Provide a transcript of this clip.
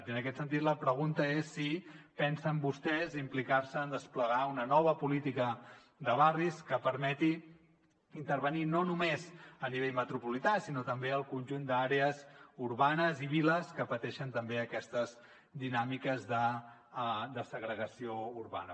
i en aquest sentit la pregunta és si pensen vostès implicar se en desplegar una nova política de barris que permeti intervenir no només a nivell metropolità sinó també al conjunt d’àrees urbanes i viles que pateixen també aquestes dinàmiques de segregació urbana